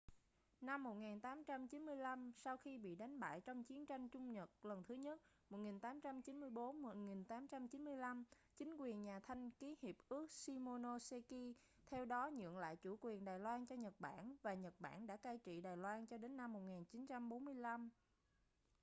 năm 1895 sau khi bị đánh bại trong chiến tranh trung-nhật lần thứ nhất 1894-1895 chính quyền nhà thanh ký hiệp ước shimonoseki theo đó nhượng lại chủ quyền đài loan cho nhật bản và nhật bản đã cai trị đài loan cho đến năm 1945